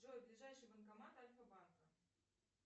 джой ближайший банкомат альфа банка